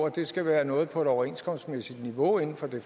at det skal være noget på overenskomstmæssigt niveau inden for det